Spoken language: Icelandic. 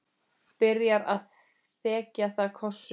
Byrjar að þekja það kossum.